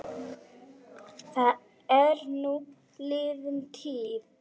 Það er nú liðin tíð.